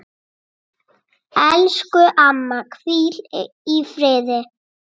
Elsku amma, hvíl í friði.